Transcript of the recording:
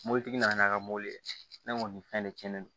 Mɔbilitigi nana a ka mobili ne kɔni fɛn de cɛnnen don